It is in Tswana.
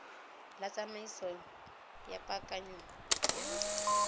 la tsamaiso ya paakanyo ya